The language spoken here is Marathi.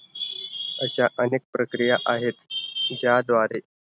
अश्या अनेक प्रक्रिया आहेत. त्याद्वारे